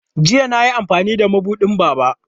Jiya na yi amfani da mabuɗin Baba.